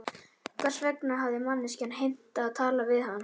Hvers vegna hafði manneskjan heimtað að tala við hann?